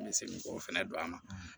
N bɛ segin k'o fɛnɛ don a ma